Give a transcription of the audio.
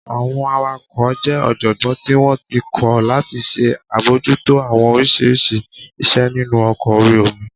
Àwọn awakọ̀ jẹ́ ọ̀jọ̀gbọ́n tí wọ́n ti kọ́ láti ṣe àbojútó àwọn oríṣiríṣi iṣẹ́ nínu ọkọ̀ orí omi